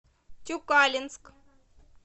тюкалинск